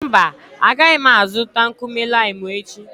Mba, agaghị m azụta nkume limu echi.